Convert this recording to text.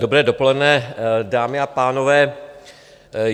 Dobré dopoledne, dámy a pánové.